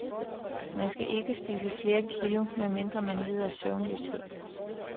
Man skal ikke spise flere kilo, medmindre man lider af søvnløshed.